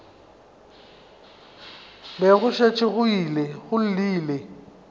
be go šetše go llile